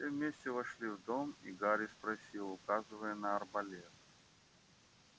все вместе вошли в дом и гарри спросил указывая на арбалет